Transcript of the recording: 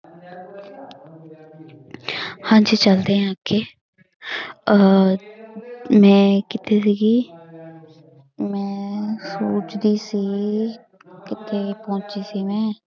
ਹਾਂਜੀ ਚੱਲਦੇ ਹਾਂ ਅੱਗੇ ਅਹ ਮੈਂ ਕਿੱਥੇ ਸੀਗੀ ਮੈਂ ਸੋਚਦੀ ਸੀ ਕਿੱਥੇ ਪਹੁੰਚੀ ਸੀ ਮੈਂ।